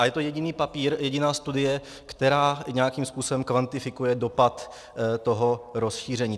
A je to jediný papír, jediná studie, která nějakým způsobem kvantifikuje dopad toho rozšíření.